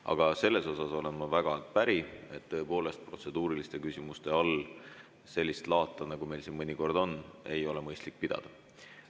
Aga sellega olen ma väga päri, et protseduuriliste küsimuste all sellist laata, nagu meil siin mõnikord on, ei ole mõistlik pidada.